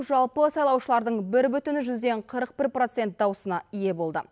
жалпы сайлаушылардың бір бүтін жүзден қырық бір процент даусына ие болды